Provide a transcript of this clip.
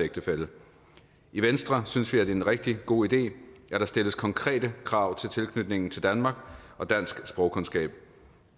ægtefælle i venstre synes vi at det er en rigtig god idé at der stilles konkrete krav til tilknytningen til danmark og til dansk sprogkundskab